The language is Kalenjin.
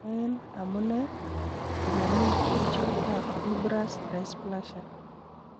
En amune, komomi kerichotab fibrous dysplasia.